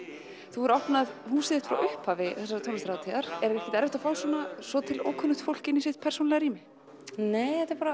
þú hefur opnað húsið þitt frá upphafi þessarar tónlistarhátíðar er ekkert erfitt að fá svona svo til ókunnugt fólk í sitt persónulega rými nei þetta er bara